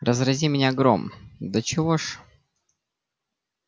разрази меня гром до чего ж